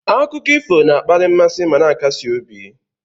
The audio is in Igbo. Akụkọ ifo na-akpali mmasị ma na-akasi obi.